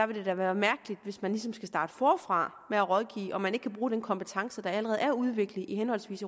ville det da være mærkeligt hvis man ligesom skulle starte forfra med at rådgive og man ikke kunne bruge den kompetence der allerede er udviklet i henholdsvis